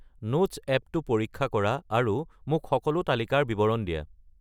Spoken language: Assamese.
নোটছ এপ্পটো পৰীক্ষা কৰা আৰু মোক সকলো তালিকাৰ বিৱৰণ দিয়া